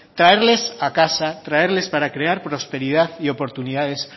traerles a casa traerles para crear prosperidad y oportunidades